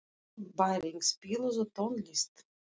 Bæring, spilaðu tónlist.